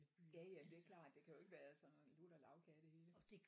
Ja ja det er klart det kan jo ikke være sådan lutter lagkage det hele